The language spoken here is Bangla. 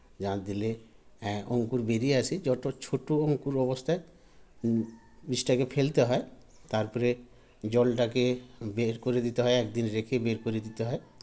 জ্বাল দিলে এ অঙ্কুর বেড়িয়ে আসে যত ছোটো অঙ্কুর অবস্থায় ম জিনিসটাকে ফেলতে হয় তারপরে জলটাকে বেড় করে দিতে হয় একদিন রেখে বেড় করে দিতে হয়